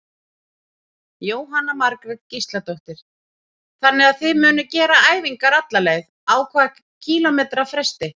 Jóhanna Margrét Gísladóttir: Þannig að þið munuð gera æfingar alla leið, á hvað kílómetra fresti?